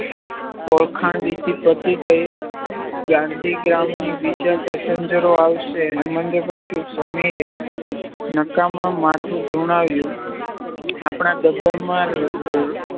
ઓળખાણ વિધિ પતિ ગઇ ગાંધીગ્રામની બીજા પેસેન્જરો આવશે હેમંતે પૂછ્યું સમીરે નકારમાં માથું ધુણાવ્યુ આપના ડબ્બામાં